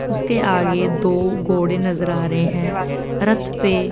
उसके आगे दो गोड़े नजर आ रहे है रथ पे--